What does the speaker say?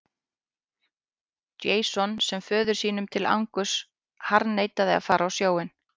Jason sem föður sínum til angurs harðneitaði að fara á sjóinn.